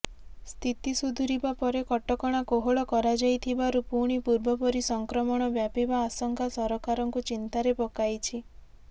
ସ୍ଥିତି ସୁଧୁରିବା ପରେ କଟକଣା କୋହଳ କରାଯାଇଥିବାରୁ ପୁଣି ପୂର୍ବପରି ସଂକ୍ରମଣ ବ୍ୟାପିବା ଆଶଙ୍କା ସରକାରଙ୍କୁ ଚିନ୍ତାରେ ପକାଇଛି